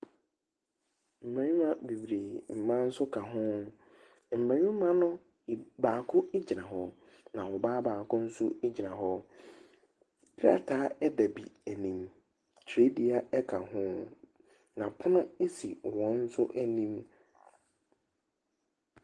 Mmarima bebree, mmaa nso ka ho. Mmarima no eb baako gyina hɔ, na ɔbaa baako nso gyina hɔ. Krataa gya bi anim. Twerɛdua ka ho, na pono si wɔn nso anim.